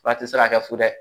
Fura tɛ se ka kɛ fu dɛ